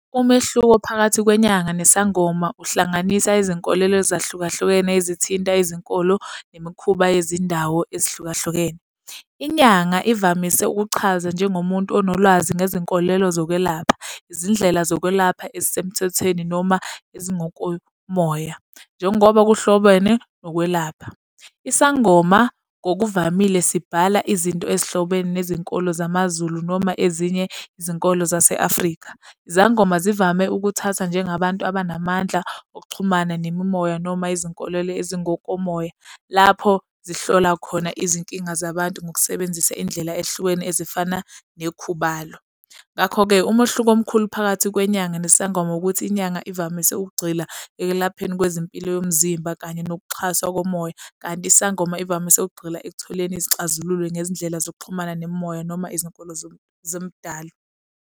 Umehluko phakathi kwenyanga nesangoma uhlanganisa izinkolelo ezahlukahlukene ezithinta izinkolo nemikhuba yezindawo ezihlukahlukene. Inyanga ivamise ukuchaza njengomuntu onolwazi ngezinkolelo zokwelapha, izindlela zokwelapha ezisemthethweni noma ezingokomoya, njengoba kuhlobene nokwelapha. Isangoma ngokuvamile, sibhala izinto ezihlobene nezinkolo zamaZulu noma ezinye izinkolo zase-Afrika. Izangoma zivame ukuthatha njengabantu abanamandla okuxhumana nemimoya, noma izinkolelo ezingokomoya, lapho zihlola khona izinkinga zabantu ngokusebenzisa indlela ehlukene ezifana nekhubalo. Ngakho-ke, umehluko omkhulu phakathi kwenyanga nesangoma ukuthi inyanga ivamise ukugxila ekulapheni kwezimpilo yomzimba kanye ngokuxhaswa komoya. Kanti isangoma ivamise ukugxila ekutholeni izixazululo ngezindlela zokuxhumana nemimoya noma izinkolo zoMdali.